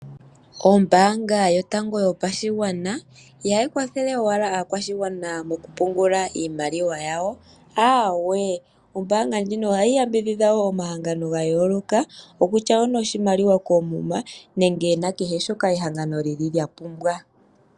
Ombaanga yotango yopashigwana ihayi kwathele owala aakwashigwana mokupungula iimaliwa yawo, aawe. Ohayi kwathele wo omahango gamwe noshimaliwa koomuma nenge na kehe shoka ehangano lyapumbwa.